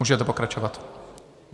Můžete pokračovat.